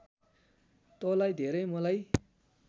तँलाई धेरै मलाई